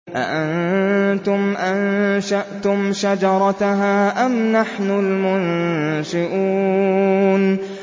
أَأَنتُمْ أَنشَأْتُمْ شَجَرَتَهَا أَمْ نَحْنُ الْمُنشِئُونَ